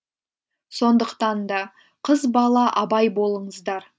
сондықтанда қыз бала абай болыңыздар